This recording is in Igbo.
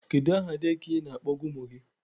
Kedu aha dekịa ị na-akpọga ụmụ gị?